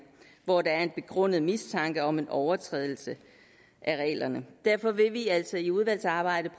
og hvor der er en begrundet mistanke om overtrædelse af reglerne derfor vil vi altså i udvalgsarbejdet